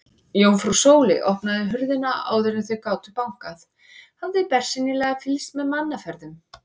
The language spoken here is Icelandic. Jómfrú Sóley opnaði hurðina áður en þau gátu bankað, hafði bersýnilega fylgst með mannaferðum.